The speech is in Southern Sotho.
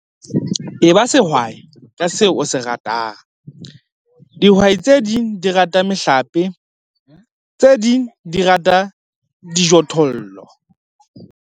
Eba sehwai ka seo o se ratang. Dihwai tse ding di rata mehlape, tse ding di rata dijothollo.